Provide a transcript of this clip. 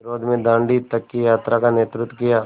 विरोध में दाँडी तक की यात्रा का नेतृत्व किया